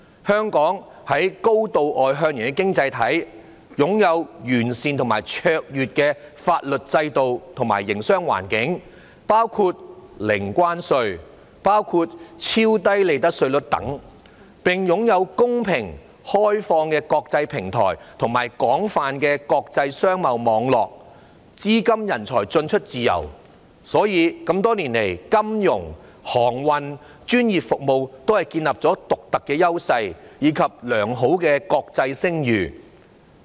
香港是高度外向型的經濟體，擁有完善而卓越的法律制度和營商環境，包括零關稅、超低利得稅率等，並擁有公平、開放的國際平台，以及廣泛的國際商貿網絡，資金人才進出自由，所以多年來在金融、航運、專業服務等方面也建立了獨特的優勢，以及良好的國際聲譽。